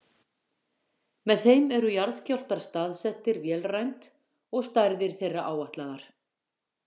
Með þeim eru jarðskjálftar staðsettir vélrænt og stærðir þeirra áætlaðar.